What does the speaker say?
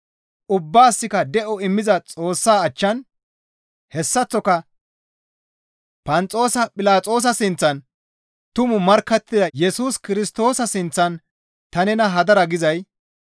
Ubbaasikka de7o immiza Xoossaa achchan hessaththoka Phanxoosa Philaxoosa sinththan tumaa markkattida Yesus Kirstoosa sinththan ta nena hadara gizay,